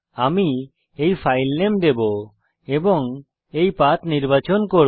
আমি এই ফাইল নাম দেবো এবং এই পথ নির্বাচন করব